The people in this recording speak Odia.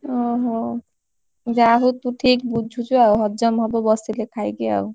ଓହୋ ଯାହାହଉ ତୁ ଠିକ ବୁଝୁଛୁ। ଆଉ ହଜମ ହବ ବସିଲେ ଖାଇକି ଆଉ।